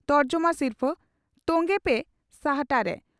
ᱛᱚᱨᱡᱚᱢᱟ ᱥᱤᱨᱯᱷᱟᱹ ᱾ ᱛᱚᱝᱜᱮ ᱯᱮ ᱥᱟᱦᱴᱟᱨᱮ ᱹᱹᱹᱹᱹ